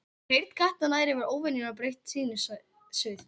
Heyrn katta nær yfir óvenju breitt tíðnisvið.